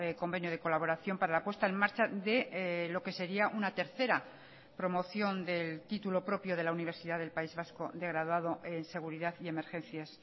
convenio de colaboración para la puesta en marcha de lo que sería una tercera promoción del título propio de la universidad del país vasco de graduado en seguridad y emergencias